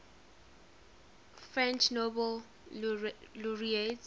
french nobel laureates